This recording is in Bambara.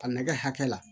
A nɛgɛ hakɛ la